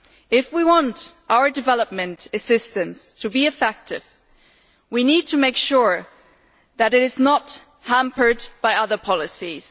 If we want our development assistance to be effective, we need to make sure that it is not hampered by other policies.